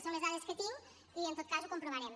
són les dades que tinc i en tot cas ho comprovarem